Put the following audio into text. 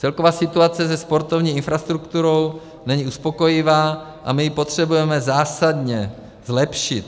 Celková situace ve sportovní infrastruktuře není uspokojivá a my ji potřebujeme zásadně zlepšit.